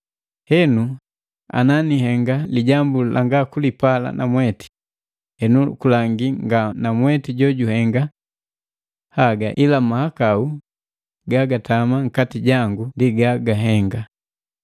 Henu ana nihenga lijambu langa kulipala namweti, henu kulangi nga namwete jojuhenga haga ila ga mahakau gagatama nkati jangu ndi gagahenga.